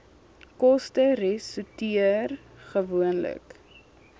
koste resorteer gewoonlik